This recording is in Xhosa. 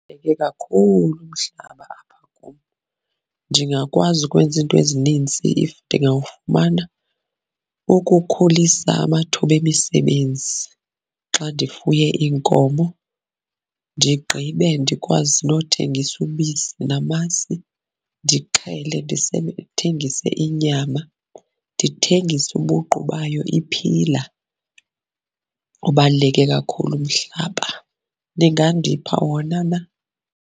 Kakhulu umhlaba apha kum, ndingakwazi ukwenza izinto ezinintsi if ndingawafumana. Ukukhulisa amathuba emisebenzi xa ndifuye iinkomo, ndigqibe ndikwazi nothengisa ubisi namasi, ndixhele ndithengise inyama, ndithengise ubuqu bayo iphila. Ubaluleke kakhulu umhlaba. Ningandipha wona na?